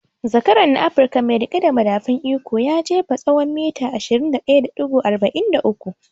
Zakaran na Afruka mai riƙe da madafun iko ya jefa tsawon mita 21.43